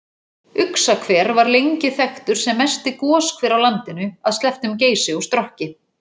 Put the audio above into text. Uxahver var lengi þekktur sem mesti goshver á landinu að slepptum Geysi og Strokki.